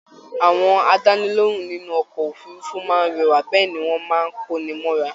Àwọn àdánilohùn nínú ọkọ òfurùnfu máa rẹwa bẹẹni wọn máa n ko ní mọra